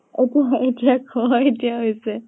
অʼ এতিয়া কʼ । এতিয়া হৈছে